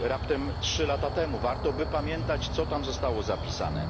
czyli raptem trzy lata temu, warto by pamiętać, co tam zostało zapisane.